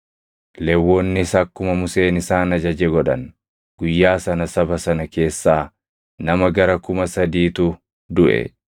Lewwonnis akkuma Museen isaan ajaje godhan; guyyaa sana saba sana keessaa nama gara kuma sadiitu duʼe.